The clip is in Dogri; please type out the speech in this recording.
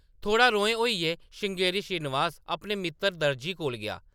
थोह्‌ड़ा रोहें होइयै श्रृंगेरी श्रीनिवास अपने मित्तर दर्जी कोल गेआ ।